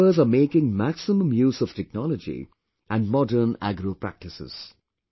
Its members are making maximum use of technology and Modern Agro Practices